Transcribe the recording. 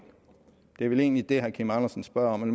det er vel egentlig det herre kim andersen spørger om man